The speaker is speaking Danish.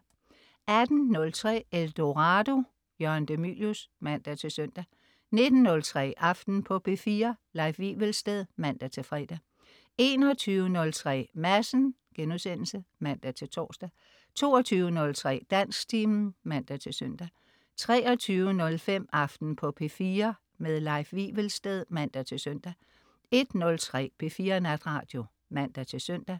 18.03 Eldorado. Jørgen de Mylius (man-søn) 19.03 Aften på P4. Leif Wivelsted (man-fre) 21.03 Madsen* (man-tors) 22.03 Dansktimen (man-søn) 23.05 Aften på P4. Leif Wivelsted (man-søn) 01.03 P4 Natradio (man-søn)